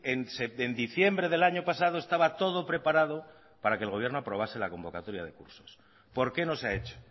en diciembre del año pasado estaba todo preparado para que el gobierno aprobase la convocatoria de cursos por qué no se ha hecho